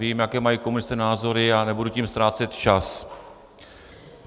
Vím, jaké mají komunisté názory, a nebudu tím ztrácet čas.